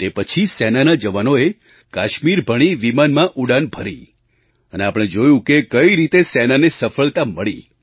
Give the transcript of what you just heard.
તે પછી સેનાના જવાનોએ કાશ્મીર ભણી વિમાનમાં ઉડાન ભરી અને આપણે જોયું કે કઈ રીતે સેનાને સફળતા મળી